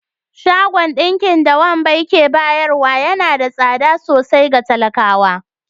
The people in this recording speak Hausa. Shagon dinki da Wambal ke bayarwa yana da tsada sosai ga talakawa